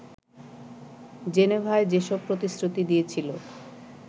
জেনেভায় যেসব প্রতিশ্রুতি দিয়েছিল